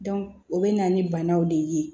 o bɛ na ni banaw de ye